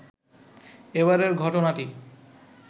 এবারের ঘটনাটি